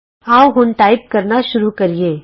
ਆਉ ਹੁਣ ਟਾਈਪ ਕਰਨਾ ਸ਼ੁਰੂ ਕਰੀਏ